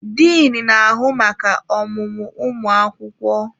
Diin na-ahụ maka ọmụmụ ụmụ akwụkwọ.